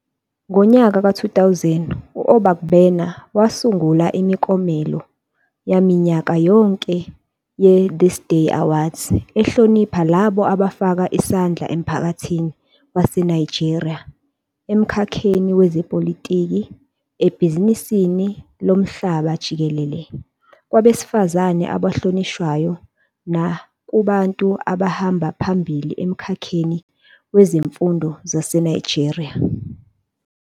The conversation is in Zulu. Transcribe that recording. Ngo-2000 u-Obaigbena wasungula imiklomelo yaminyaka yonke ye-Thisday Awards ehlonipha labo abafaka isandla emphakathini waseNigeria emkhakheni wezepolitiki, ebhizinisini lomhlaba jikelele, kwabesifazane abahlonishwayo, nakubantu abahamba phambili emkhakheni wezemfundo waseNigeria.